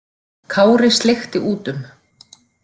Kári sleikti út um.